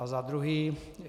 A za druhé.